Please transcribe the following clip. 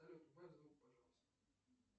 салют убавь звук пожалуйста